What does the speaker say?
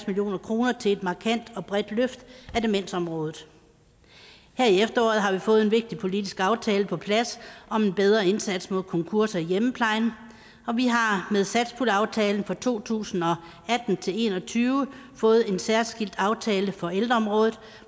million kroner til et markant og bredt løft af demensområdet her i efteråret har vi fået en vigtig politisk aftale på plads om en bedre indsats mod konkurser i hjemmeplejen og vi har har med satspuljeaftalen for to tusind og atten til en og tyve fået en særskilt aftale for ældreområdet